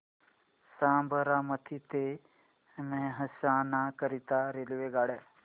साबरमती ते मेहसाणा करीता रेल्वेगाड्या